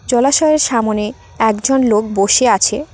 জলাশয়ের সামোনে একজন লোক বসে আছে।